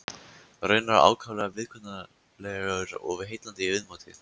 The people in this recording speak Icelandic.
Raunar ákaflega viðkunnanlegur og heillandi í viðmóti.